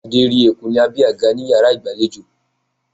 Adé rí eku ní abé àga ní iyàrá ìgbàlejò